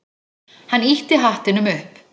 Hann ýtti hattinum upp.